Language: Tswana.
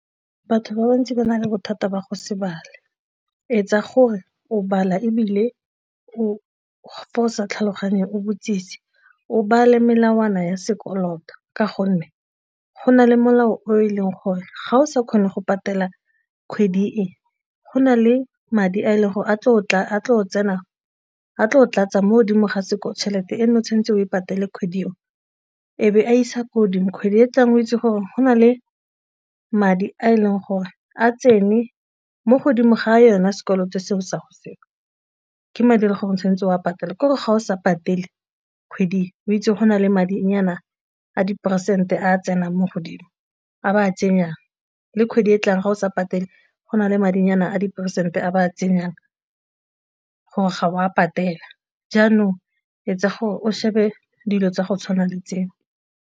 Batho ba bantsi ba na le bothata ba go se bale, etsa gore o bala ebile o fa o sa tlhaloganye o botsise o bale melawana ya sekoloto ka gonne go na le molao o e leng gore ga o sa kgone go patela kgwedi e go na le madi a e leng gore a tlo tlatsa mo godimo ga sekolo tšhelete e ne o tshwanetseng o e patele kgwedi o ebe a isa ko godimo kgwedi e e tlang o itse gore go na le madi a e leng gore a tsene mo godimo ga a yona sekoloto selo sa go seo ke madi a gore o tshwanetse o patale, ke gore ga o sa patele kgwedi o itse go na le madinyana a diperesente a tsenang mo godimo a ba a tsenyang le kgwedi e tlang ga o sa patele go na le madinyana a diperesente a ba a tsenyang gore ga wa patela, jaanong etsa gore o shebe dilo tsa go tshwana le tseo.